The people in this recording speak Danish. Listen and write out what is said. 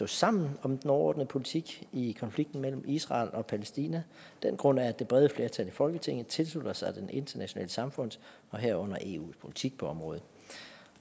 sammen om den overordnede politik i konflikten mellem israel og palæstina den grund er at det brede flertal i folketinget tilslutter sig det internationale samfunds herunder eus politik på området